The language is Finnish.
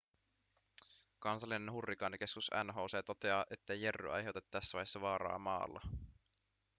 kansallinen hurrikaanikeskus nhc toteaa ettei jerry aiheuta tässä vaiheessa vaaraa maalla